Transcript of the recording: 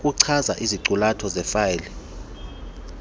okuchaza iziqulatho zefayile